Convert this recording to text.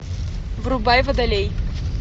врубай водолей